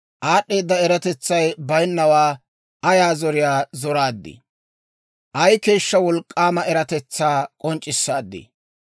Aad'd'eeda eratetsay bayinnawaa ayaa zoriyaa zoraaddii! Ay keeshshaa wolk'k'aama eratetsaa k'onc'c'issaadii!